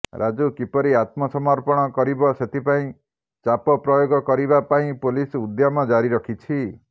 ରାଜୁ କିପରି ଆତ୍ମସମର୍ପଣ କରିବ ସେଥିପାଇଁ ଚାପ ପ୍ରୟୋଗ କରିବା ପାଇଁ ପୋଲିସ ଉଦ୍ୟମ ଜାରି ରଖିଛି